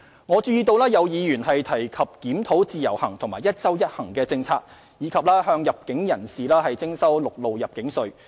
我注意到有議員提及檢討自由行和"一周一行"政策，以及向入境人士徵收陸路入境稅。